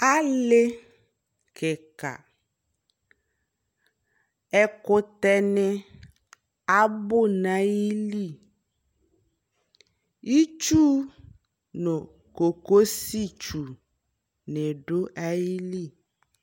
Ali kika Ɛkutɛ ni abu na yi liItsu nu kokosi tsu ni du ayi li